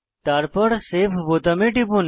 তারপর সেভ বোতামে টিপুন